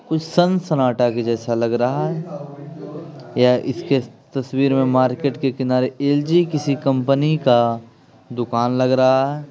कुछ संसनाटा के जैसा लग रहा हैं या इसके तस्वीर में मार्केट के किनारे एल_जी किसी कंपनी का दुकान लग रहा हैं ।